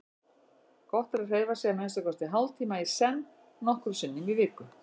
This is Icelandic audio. Gott er að hreyfa sig að minnsta kosti hálftíma í senn nokkrum sinnum í viku.